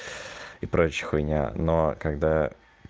и прочая хуйня но когда